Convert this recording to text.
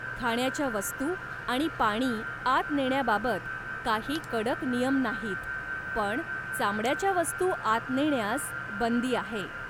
खाण्याच्या वस्तू आणि पाणी आत नेण्याबाबत काही कडक नियम नाहीत, पण चामड्याच्या वस्तू आत नेण्यास बंदी आहे.